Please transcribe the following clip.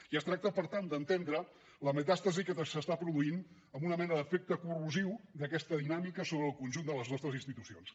i es tracta per tant d’entendre la metàstasi que s’està produint en una mena d’efecte corrosiu d’aquesta dinàmica sobre el conjunt de les nostres institucions